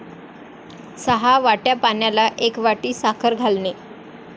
सहा वाट्या पाण्याला एक वाटी साखर घालणे.